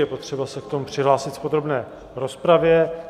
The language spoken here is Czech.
Je potřeba se k tomu přihlásit v podrobné rozpravě.